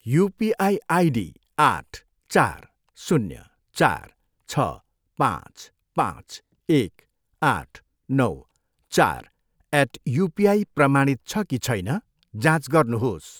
UPI ID आठ, चार, शून्य, चार, छ, पाँच, पाँच, एक, आठ, नौ, चार एट युपिआई प्रमाणित छ कि छैन, जाँच गर्नुहोस्।